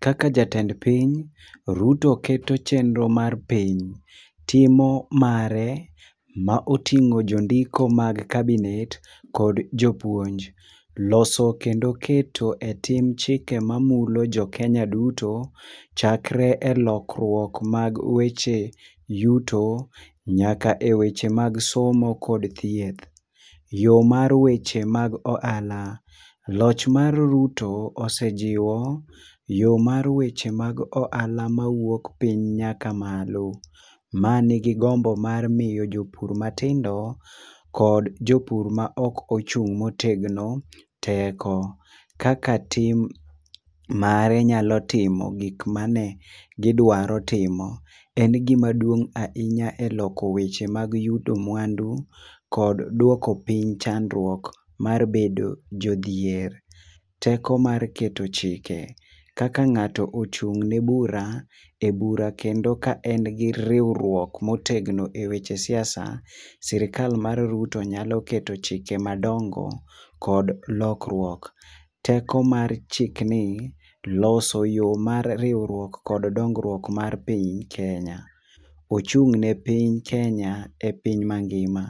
Kaka jatend piny, Ruto keto chenro mar piny, timo mare maoting'o jondiko mag cabinet kod jopuonj. Loso kendo keto e tim chike mamulo jokenya duto chakre e lokruok mag weche yuto nyaka e weche mag somo kod thieth. Yo mar weche mag ohala: Loch mar Ruto osejiwo yo mar weche mag ohala mawuok piny nyaka malo, manigi gombo mar miyo jopur matindo, kod jopur maok ochung' motegno teko. Kaka tim mare nyalo timo gik mane gidwaro timo en gimaduong' ahinya e loko weche mag yudo mwandu kod duoko piny chandruok mar bedo jodhier. Teko mar keto chike: Kaka ng'ato ochung'ne bura, e bura kendo ka en gi riwruok motegno e weche siasa, sirikal mar Ruto nyalo keto chike madongo kod lokruok. Teko mar chikni, loso yo mar riwruiok kod dongruok mar piny Kenya: Ochung' ne piny Kenya e piny mangima.